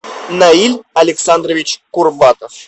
наиль александрович курбатов